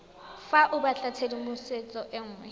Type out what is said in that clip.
fa o batlatshedimosetso e nngwe